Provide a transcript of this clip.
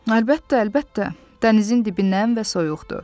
Əlbəttə, əlbəttə, dənizin dibindən və soyuqdur.